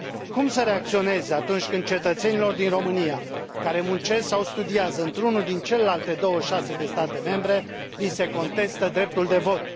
Cum să reacționez atunci când cetățenilor din România, care muncesc sau studiază într unul din celelalte 26 de state membre, li se contestă dreptul de vot?